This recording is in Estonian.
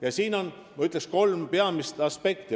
Ma ütleks, et siin on kolm peamist aspekti.